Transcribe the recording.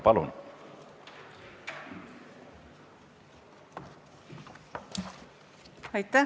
Palun!